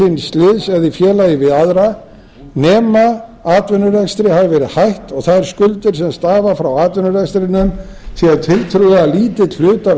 eða í félagi við aðra nema atvinnurekstri hafi verið hætt og þær skuldir sem stafa frá atvinnurekstrinum sé tiltölulega lítill hluti af